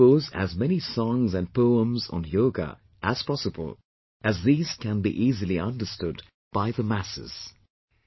You could compose as many songs and poems on Yoga, as possible, as these can be easily understood by the masses